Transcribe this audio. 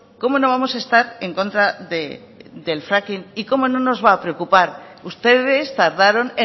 cómo no vamos a estar en contra del fracking y cómo no nos va a preocupar ustedes tardaron